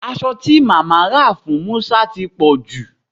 Aso ti mama ra fun Musa ti poju